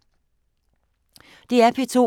DR P2